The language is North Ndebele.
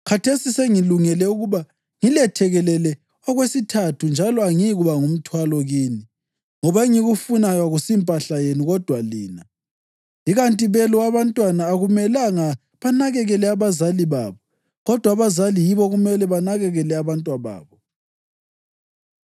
Khathesi sengilungele ukuba ngilethekelele okwesithathu njalo angiyikuba ngumthwalo kini ngoba engikufunayo akusimpahla yenu kodwa lina. Ikanti belo abantwana akumelanga banakekele abazali babo kodwa abazali yibo okumele banakekele abantwababo.